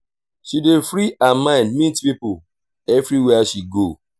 she dey free her mind meet pipo everywhere she go.